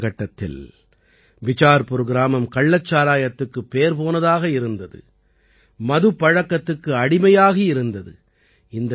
இந்தக் காலகட்டத்தில் பிசார்புர் கிராமம் கள்ளச்சாராயத்துக்குப் பேர் போனதாக இருந்தது மதுப்பழக்கத்துக்கு அடிமையாகி இருந்தது